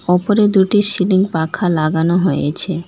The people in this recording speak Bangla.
ওপরে দুটি সিলিং পাখা লাগানো হয়েছে।